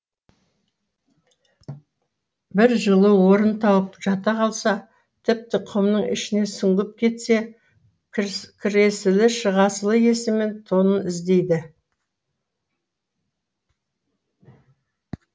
бір жылы орын тауып жата қалса тіпті құмның ішіне сүңгіп кетсе кіресілі шығасылы есімен тонын іздейді